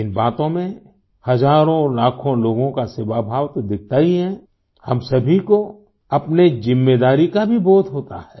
इन बातों में हजारोंलाखों लोगों का सेवाभाव तो दिखता ही है हम सभी को अपनी ज़िम्मेदारी का बोध भी होता है